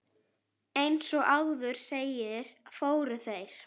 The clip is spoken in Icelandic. Eins og áður segir, fóru þeir